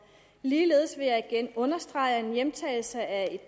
ligeledes vil jeg igen understrege at en hjemtagelse af